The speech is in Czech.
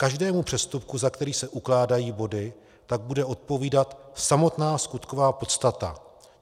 Každému přestupku, za který se ukládají body, tak bude odpovídat samotná skutková podstata.